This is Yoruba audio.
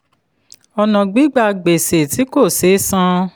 ọ̀nà gbígba gbèsè tí kò sé san.